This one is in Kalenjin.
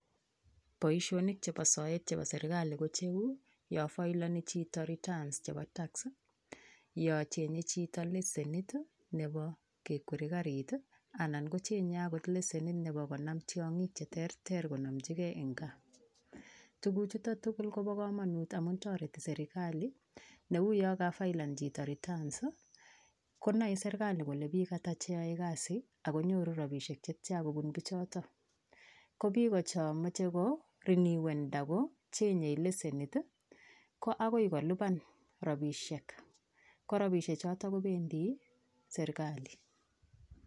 Boishonik chebo soet chebo serikali kocheu yon faeleni chito returns chebo tax yon cheng'e chito leshenit nebo kekwere karit i anan kocheng'e akot leshenit nebo konam tiong'ik cheterter konomchikee en kaa, tukuchuton tukul kobokomonut amun toreti serikali neu yon kafaelen chito returns konoe serikali kole biik ataa cheyoe kasi akonyoru rabinik chetian kobun bichoton, ko biik chomoche ko rinuen akocheng'e leshenit i ko akoi koliban rabishek, korabishe choton kobendi serikali.